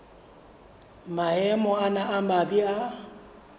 maemo ana a mabe a